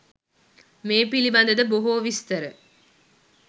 මේ පිළිබඳ ද බොහෝ විස්තර